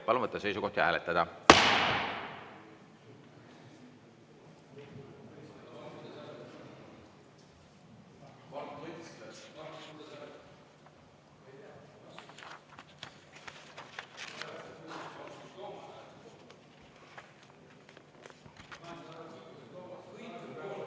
Palun võtta seisukoht ja hääletada!